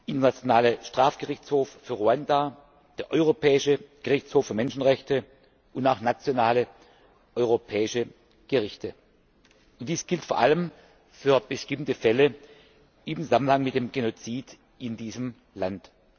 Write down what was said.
Internationale Strafgerichtshof für Ruanda, der Europäische Gerichtshof für Menschenrechte und auch nationale europäische Gerichte Dies gilt vor allem für bestimmte Fälle in Zusammenhang mit dem Genozid in diesem Land.